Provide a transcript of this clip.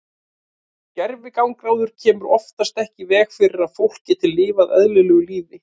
Gervigangráður kemur oftast ekki í veg fyrir að fólk geti lifað eðlilegu lífi.